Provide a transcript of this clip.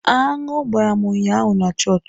Aṅụ gbara m ụnyaahụ na chọọchị